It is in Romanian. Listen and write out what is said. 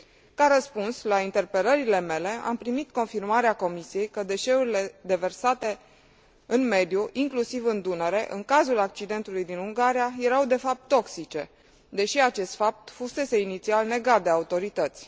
Ca răspuns la interpelările mele, am primit confirmarea Comisiei că deșeurile deversate în mediu, inclusiv în Dunăre, în cazul accidentului din Ungaria, erau de fapt toxice, deși acest fapt fusese inițial negate de autorități.